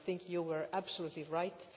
I think you were absolutely right.